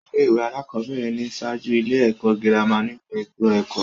Ilé-ìwé alákọ̀ọ́bẹ̀rẹ̀ ni ń ṣáájú ilé-ẹ̀kọ́ girama nínu ètò ẹ̀kọ́.